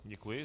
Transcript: Děkuji.